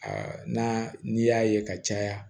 na n'i y'a ye ka caya